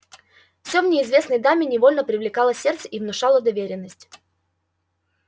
всё в неизвестной даме невольно привлекало сердце и внушало доверенность